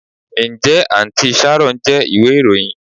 Njẹ Aunty sharon jẹ iwe iroyin?